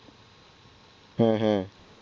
হ্যাঁ হ্যাঁ,